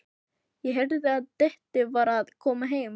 Ég heyrði að Diddi var að koma heim.